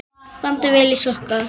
Bandið vel í sokka.